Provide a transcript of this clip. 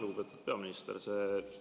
Lugupeetud peaminister!